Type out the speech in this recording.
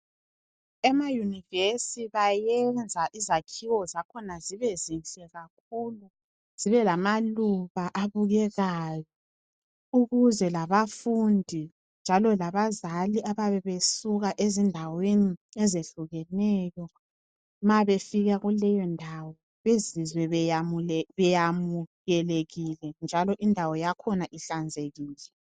Emayunivesi bayenza izakhiwo zakhona zibe zinhle kakhulu, zibe lamaluba abukekayo. Ukuze labafundi njalo labazali abayabe besuka ezindaweni ezehlukeneyo ma befika kuleyo ndawo bezizwe beyamukelekile, njalo indawo yakhona ihlanzekile.